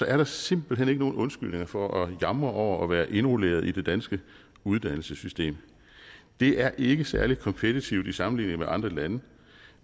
er der simpelt hen ikke nogen undskyldninger for at jamre over at være indrulleret i det danske uddannelsessystem det er ikke særlig kompetitivt i sammenligning med andre lande